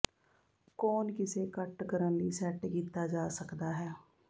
ਕੋਣ ਕਿਸੇ ਕੱਟ ਕਰਨ ਲਈ ਸੈੱਟ ਕੀਤਾ ਜਾ ਸਕਦਾ ਹੈ